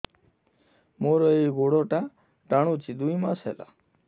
ମୋର ଏଇ ଗୋଡ଼ଟା ଟାଣୁଛି ଦୁଇ ମାସ ହେଲା